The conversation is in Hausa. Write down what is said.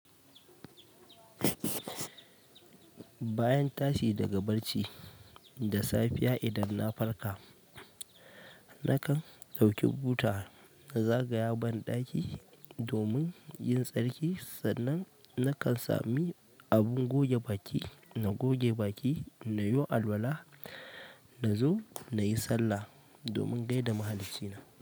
Bayan tashi daga barci da safiya idan na farka, na kan ɗauki buta na zagaya ban ɗaki domin yin tsarki sannan na kan sami abun goge baki na goge baki na yo alwala na zo na yi sallah domin gaida mahallici na.